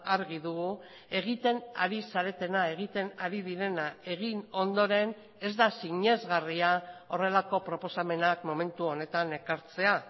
argi dugu egiten ari zaretena egiten ari direna egin ondoren ez da sinesgarria horrelako proposamenak momentu honetan ekartzea